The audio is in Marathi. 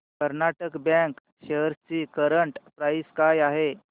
कर्नाटक बँक शेअर्स ची करंट प्राइस काय आहे